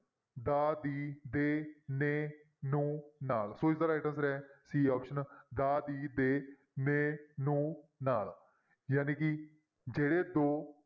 ਦਾ, ਦੀ, ਦੇ, ਨੇ, ਨੂੰ, ਨਾਲ ਸੋ ਇਸਦਾ right answer ਹੈ c option ਦਾ, ਦੀ, ਦੇ, ਨੇ, ਨੂੰ, ਨਾਲ ਜਾਣੀ ਕਿ ਜਿਹੜੇ ਦੋ